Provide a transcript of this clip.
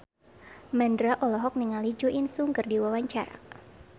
Mandra olohok ningali Jo In Sung keur diwawancara